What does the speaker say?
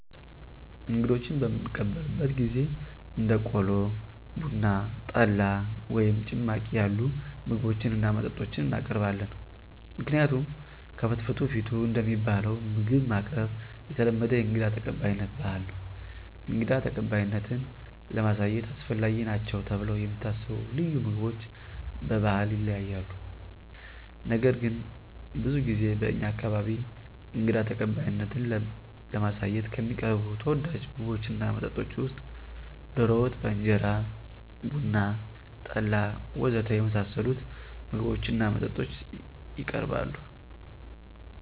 እንግዶችን በምንቀበልበት ጊዜ እንደ ቆሎ፣ ቡና፣ ጠላ ወይም ጭማቂ ያሉ ምግቦችን እና መጠጦችን እናቀርባለን። ምክንያቱም ከፍትፍቱ ፊቱ እንደሚባለው ምግብ ማቅረብ የተለመደ የእንግዳ ተቀባይነት ባህል ነው። እንግዳ ተቀባይነትን ለማሳየት አስፈላጊ ናቸው ተብለው የሚታሰቡ ልዩ ምግቦች በባህል ይለያያሉ። ነገር ግን ብዙ ጊዜ በእኛ አካባቢ እንግዳ ተቀባይነትን ለማሳየት ከሚቀርቡ ተወዳጅ ምግቦች እና መጠጦች ውስጥ ዶሮ ወጥ በእንጀራ፣ ቡና፣ ጠላ ወ.ዘ.ተ. የመሳሰሉት ምግቦች እና መጠጦች የቀርባሉ።